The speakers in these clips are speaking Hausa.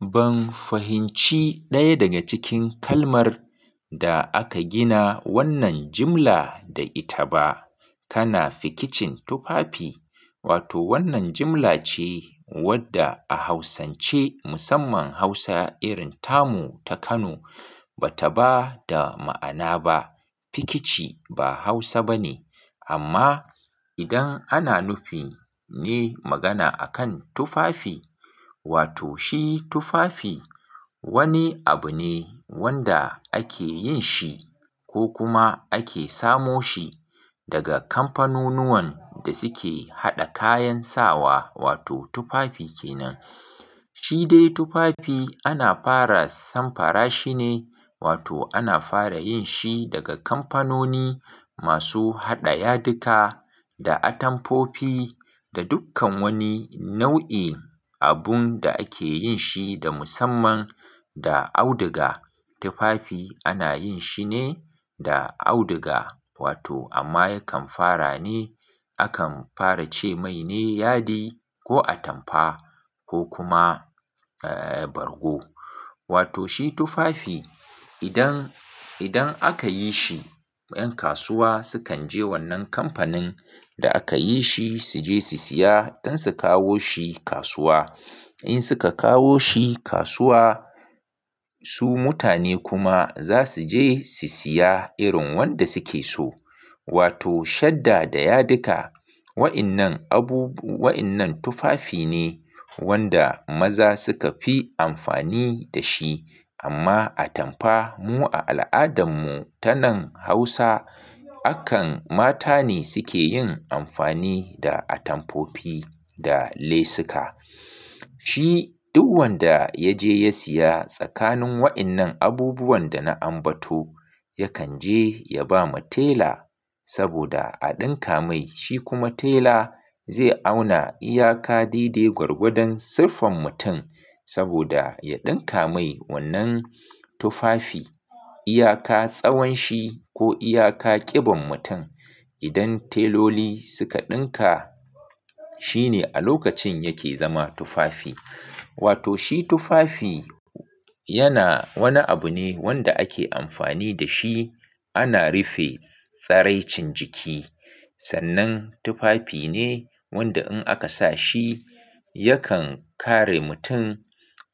Ban fahimci ɗaya daga cikin kalmar da aka gina wannan jimla da ita ba. Kana fikicin tufafi? Wato wannan jimla ce wadda a hausance musamman Hausa irin tamu ta Kano ba ta ba da ma'ana ba. Fikici ba Hausa ba ne amma idan ana nufi ne magana akan tufafi, wato shi tufafi wani abu ne wanda ake yin shi ko kuma ake samo shi daga kamfanunuwan da suke haɗa kayan sawa wato tufafi kenan. Shi dai tufafi ana fara samfara shi ne wato ana fara yin shi daga kamfanoni masu haɗa yadika da atampofi da dukkan wani nau'i abun da ake yin shi da musamman da auduga. Tufafi ana yin shi ne da auduga wato amma yakan fara ne. Akan fara ce mai ne yadi ko atampa ko kuma, eh, bargo. Wato shi tufafi idan, idan aka yi shi 'yan kasuwa sukan je wannan kamfanin da aka yi shi su je su siya don su kawo shi kasuwa. In suka kawo shi kasuwa su mutane kuma za su je su siya irin wanda suke so. Wato shadda da yadika. Wa'innan abubu-- wa'innan tufafi ne wanda maza suka fi amfani da shi. Amma atamfa mu a al'adarmu ta nan Hausa akan mata ne suke yin amfani da atamfofi da lesuka. Shi duk wanda ya je ya siya tsakanin wa'innan abubuwan da na ambato yakan je ya ba mu tela saboda a ɗinka mai. Shi kuma tela zai auna iyaka daidai gwargwadon siffar mutum saboda ya ɗinka mai wannan tufafi. Iyaka tsawon shi ko iyaka ƙiban mutum. Idan teloli suka ɗinka, shi ne a lokacin yake zama tufafi. Wato shi tufafi yana wani abu ne wanda ake amfani da shi ana rufe tsaraicin jiki. Sannan tufafi ne wanda in aka sa shi yakan kare mutum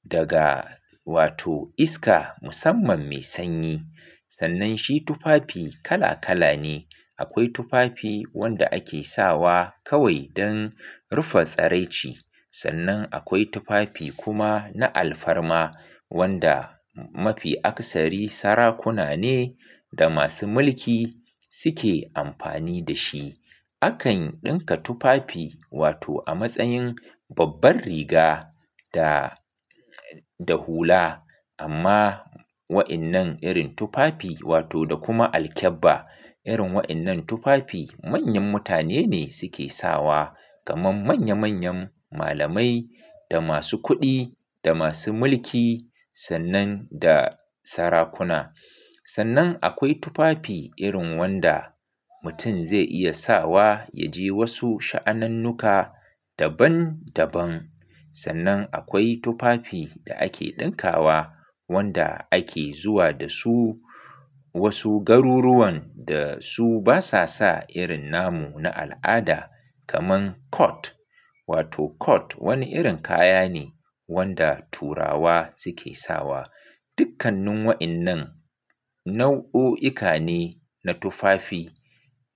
daga wato iska musamman mai sanyi. Sannan shi tufafi kala kala ne. Akwai tufafi wanda ake sawa kawai don rufe tsaraici. Sannan akwai tufafi kuma na alfarma wanda mafi aksari sarakuna ne da masu mulki suke amfani da shi. Akan ɗinka tufafi wato a matsayin babbar riga da, da hula amma wa'innan irin tufafi wato da kuma alkebba. Irin wa'innan tufafi manyan mutane ne suke sawa kamar manya manyan malamai da masu kuɗi da masu mulki sannan da sarakuna. Sannan akwai tufafi irin wanda mutum zai iya sawa ya je wasu sha'anannuka daban daban. Sannan akwai tufafi da ake ɗinkawa wanda ake zuwa da su wasu garuruwan da su basa sa irin namu na al'ada kamar kot. Wato kot wani irin kaya ne wanda turawa suke sawa. Dukkannin wa'innan nau'uka ne na tufafi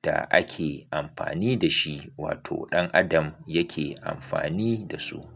da ake amfani da shi wato ɗan adam yake amfani da su.